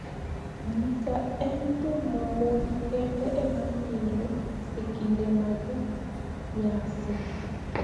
Gidha eni thum ma moni kenide ema mielo e kinide mag niyasi.